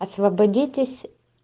освободитесь